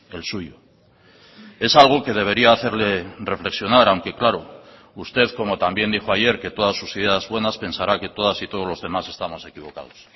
el suyo es algo que debería hacerle reflexionar aunque claro usted como también dijo ayer que todas sus ideas buenas pensará que todas y todos los demás estamos equivocados